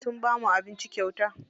Sun bamu abinci kyauta.